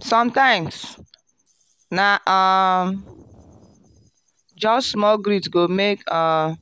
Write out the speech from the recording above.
sometimes na um just small greet go make um